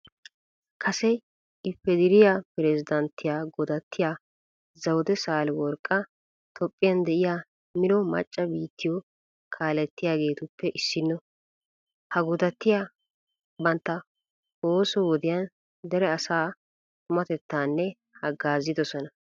Kase ifederiya pirezddanttiya godattiya zawude saaleworqqa toophphiyan de'iya mino macca biittiyo kaalettidageetuppe issinno. Ha godattiya bantta ooso wodiyan dere asaa tumatettan haggaazidosona.